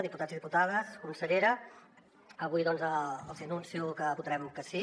diputats i diputades consellera avui doncs els hi anuncio que votarem que sí